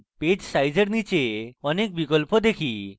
page size এর নীচে আমরা অনেক বিকল্প দেখি